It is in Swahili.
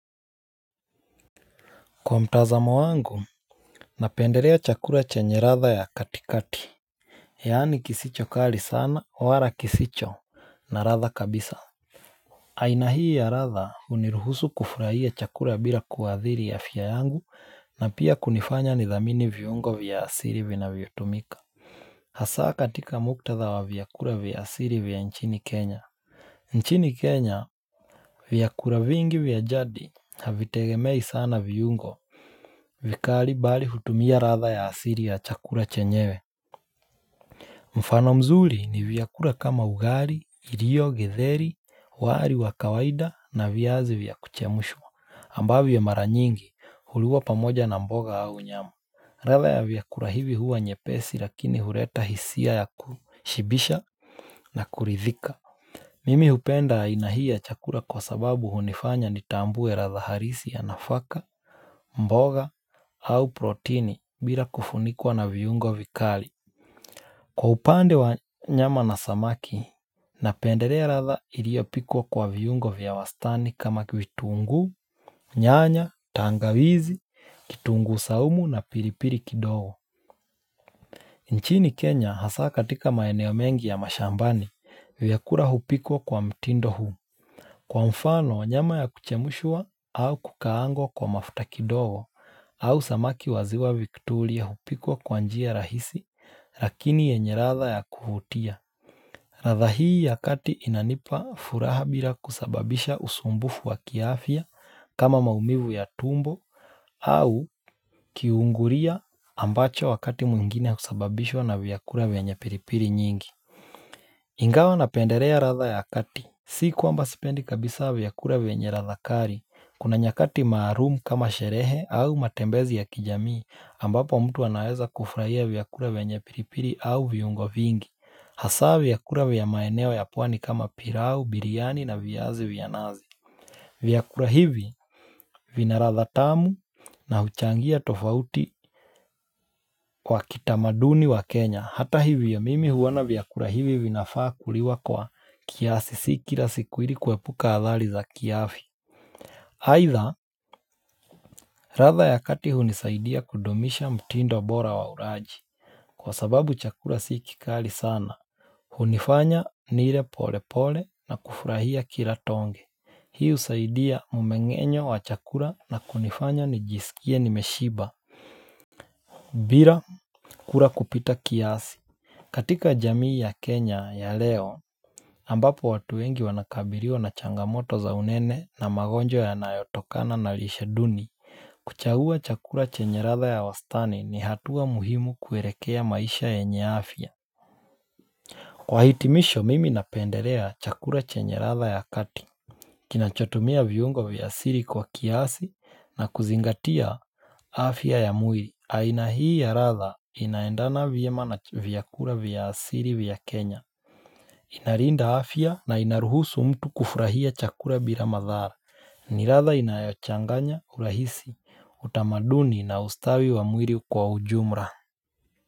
Kwa mtazamo wangu, napendelea chakula chenye ladha ya katikati, yaani kisicho kali sana, wala kisicho na ladha kabisa aina hii ya ladha huniruhusu kufurahia chakula bila kuadhiri afya yangu na pia kunifanya nithamini viungo vya asili vinavyotumika Hasaa katika muktadha wa vyakula vya asili vya nchini kenya nchini kenya, viakula vingi vya jadi, havitegemei sana viungo vikali bali hutumia ladha ya asili ya chakula chenyewe mfano mzuri ni vyakula kama ugali, irio, getheri, wali wa kawaida na viazi vya kuchemushwa ambavyo mara nyingi huliwa pamoja na mboga au nyamu ladha ya vyakula hivi huwa nyepesi lakini huleta hisia ya kushibisha na kuridhika Mimi hupenda aina hii ya chakula kwa sababu hunifanya nitambue ladha halisi ya nafaka, mboga au proteni bila kufunikwa na viungo vikali Kwa upande wa nyama na samaki Napendelea ladha iliyopikwa kwa viungo vya wastani kama vitungu, nyanya, tangawizi, kitungu saumu na pilipili kidogo nchini Kenya hasa katika maeneo mengi ya mashambani vyakula hupikwa kwa mtindo huu Kwa mfano nyama ya kuchemushwa au kukaangwa kwa mafuta kidogo au samaki wa ziwa viktoria hupikwa kwa njia rahisi lakini yenye ladha ya kuvutia ladha hii ya kati inanipa furaha bila kusababisha usumbufu wa kiafya kama maumivu ya tumbo au kiungulia ambacho wakati mwingine husababishwa na vyakula venye pilipili nyingi Ingawa napendelea ladha ya kati Si kwamba sipendi kabisa vyakula vyenye ladha kali kuna nyakati maalum kama sherehe au matembezi ya kijamii ambapo mtu anaweza kufurahia vyakula venye pilipili au viungo vingi, hasa vyakula vya maeneo ya pwani kama pilau, biriani na viazi vya nazi. Vyakula hivi vina ladha tamu na huchangia tofauti kwa utamaduni wa Kenya, hata hivyo ya mimi huona vyakula hivi vinafaa kuliwa kwa kiasi si kila siku ili kuepuka athari za kiafya. Aidha, ladha ya kati hunisaidia kudumisha mtindo bora wa ulaji, kwa sababu chakula si kikali sana. Hunifanya nile polepole na kufurahia kila tonge. Hii husaidia mumengenyo wa chakula na kunifanya nijisikie nimeshiba. Bila, kula kupita kiasi. Katika jamii ya Kenya ya leo, ambapo watu wengi wanakabiliwa na changamoto za unene na magonjwa yanayotokana na lishe duni, kuchagua chakula chenye ladha ya wastani ni hatua muhimu kuelekea maisha yenye afya Kwa hitimisho mimi napendelea chakula chenye ladha ya kati Kinachotumia viungo viasili kwa kiasi na kuzingatia afya ya mwili aina hii ya ladha inaendana vyema na vyakula vya asili vya Kenya Inalinda afya na inaruhusu mtu kufurahia chakula bila madhara ni ladha inayochanganya, urahisi, utamaduni na ustawi wa mwili kwa ujumla.